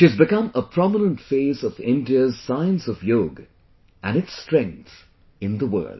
She has become a prominent face of India's science of yoga and its strength, in the world